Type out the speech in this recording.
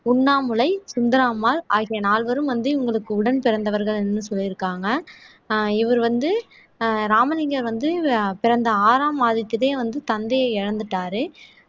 உண்ணாமுலை சுந்தராம்மாள் ஆகிய நால்வரும் வந்து இவங்களுக்கு உடன் பிறந்தவர்கள்ன்னு சொல்லியிருக்காங்க ஆஹ் இவர் வந்து ஆஹ் ராமலிங்கம் வந்து பிறந்த ஆறாம் மாதத்திலேயே வந்து தந்தையை இழந்துட்டாரு